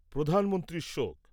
প্রধানমন্ত্রীর শোক